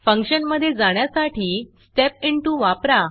फंक्शनमधे जाण्यासाठी Step Intoस्टेप इंटू वापरा